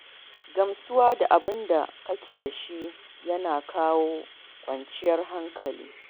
Gamsuwa da abin da kake da shi yana kawo kwanciyar hankali.